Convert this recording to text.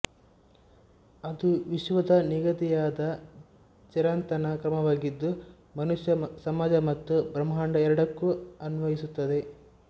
ಅದು ವಿಶ್ವದ ನಿಗದಿಯಾದ ಚಿರಂತನ ಕ್ರಮವಾಗಿದ್ದು ಮನುಷ್ಯ ಸಮಾಜ ಮತ್ತು ಬ್ರಹ್ಮಾಂಡ ಎರಡಕ್ಕೂ ಅನ್ವಯಿಸುತ್ತದೆ